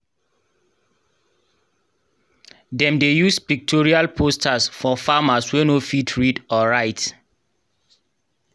dem dey use pictorial posters for farmers wey no fit read or write.